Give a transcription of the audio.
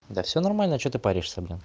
да всё нормально что ты паришься блин